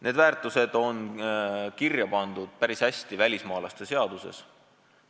Need on päris hästi kirja pandud välismaalaste seaduses.